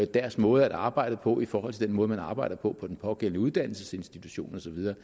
deres måde at arbejde på i forhold til den måde man arbejder på på den pågældende uddannelsesinstitution og så videre